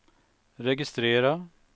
registrera